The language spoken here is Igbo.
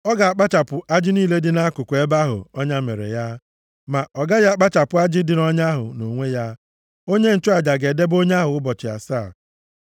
ọ ga-akpụchapụ ajị niile dị nʼakụkụ ebe ahụ ọnya mere ya, ma ọ gaghị akpụchapụ ajị dị nʼọnya ahụ nʼonwe ya. Onye nchụaja ga-edebe onye ahụ ụbọchị asaa.